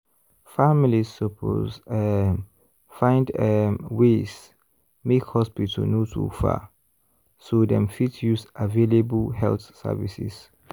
families suppose um find um ways make hospital no too far so dem fit use available health services.